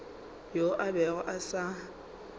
yo a bego a sa